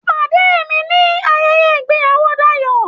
Pàdé mi nibi ayẹyẹ ìgbéyàwó Dayọ̀!